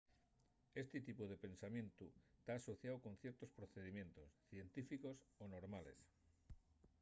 esti tipu de pensamientu ta asociáu con ciertos procedimientos científicos o normales